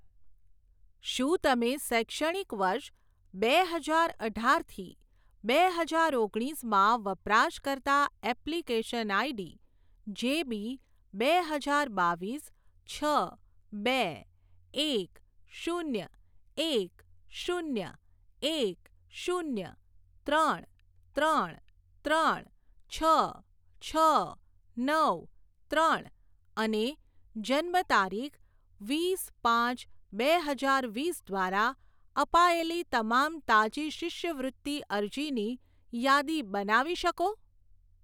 શું તમે શૈક્ષણિક વર્ષ બે હજાર અઢાર થી બે હજાર ઓગણીસમાં વપરાશકર્તા એપ્લિકેશન આઈડી જેબી બે હજાર બાવીસ છ બે એક શૂન્ય એક શૂન્ય એક શૂન્ય ત્રણ ત્રણ ત્રણ છ છ નવ ત્રણ અને જન્મતારીખ વીસ પાંચ બે હજાર વીસ દ્વારા અપાયેલી તમામ તાજી શિષ્યવૃત્તિ અરજીની યાદી બનાવી શકો?